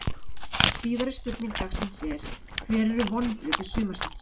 Síðari spurning dagsins er: Hver eru vonbrigði sumarsins?